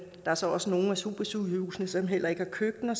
er så også nogle af supersygehusene som heller ikke har køkkener